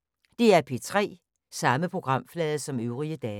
DR P3